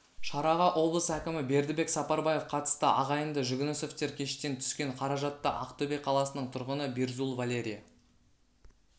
шараға облыс әкімі бердібек сапарбаев қатысты ағайынды жүгінісовтер кештен түскен қаражатты ақтөбе қаласының тұрғыны бирзул валерия